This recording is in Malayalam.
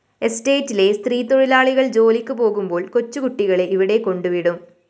എസ്റ്റേറ്റിലെ സ്ത്രീതൊഴിലാളികള്‍ ജോലിക്ക് പോകുമ്പോള്‍ കൊച്ചുകുട്ടികളെ ഇവിടെ കൊണ്ടുവിടും